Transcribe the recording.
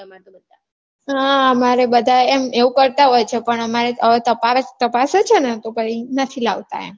હા અમારે બધાં એમ એવું કરતાં હોય છે પણ અમારે હવે તપાસે છે ને તો પછી નથી લાવતાં એમ